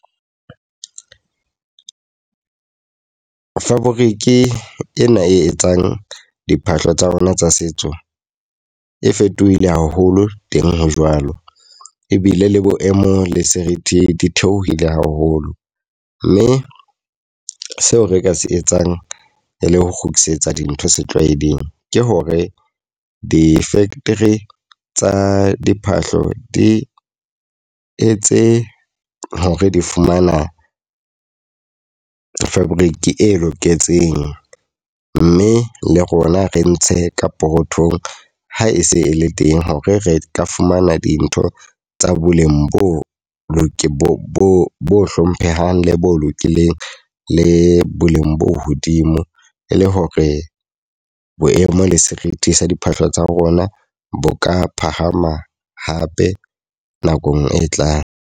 Fabric ena e etsang diphahlo tsa rona tsa setso, e fetohile haholo teng hajwale. Ebile le boemo le serithi di theohile haholo. Mme seo re ka se etsang e le ho kgutlisetsa dintho setlwaeding, ke hore di-factory tsa diphahlo di etse hore di fumana fabric e loketseng. Mme le rona re ntshe ka pokothong ha e se e le teng hore re tla fumana dintho tsa boleng bo hlomphehang, le bo lokileng le boleng bo hodimo. E le hore boemo le serithi sa diphahlo tsa rona bo ka phahama hape nakong e tlang.